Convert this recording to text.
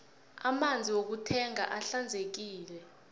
amanzi wokuthengwa ahlanzekile